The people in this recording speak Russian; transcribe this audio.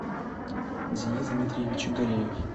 денис дмитриевич галеев